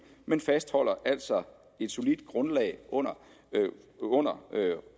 men fastholder altså et solidt grundlag under under